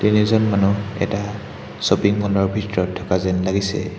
তিনিজন মানুহ এটা শ্বপিং ম'ল ৰ ভিতৰত থকা যেন লাগিছে।